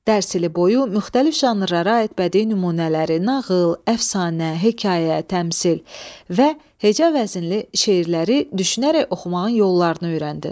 Dərs ili boyu müxtəlif janrlara aid bədii nümunələri – nağıl, əfsanə, hekayə, təmsil – və heca vəzinli şeirləri düşünərək oxumağın yollarını öyrəndin.